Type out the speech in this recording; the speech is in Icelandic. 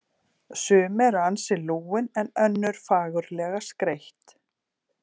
Sum eru ansi lúin en önnur fagurlega skreytt.